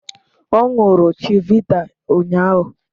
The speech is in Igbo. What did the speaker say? Ọ ṅụrụ chivita ụnyahụ